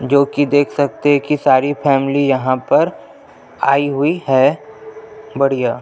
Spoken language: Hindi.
जो की देख सकते है की सारी फॅमिली यहाँ पर आई हुई है बढ़िया--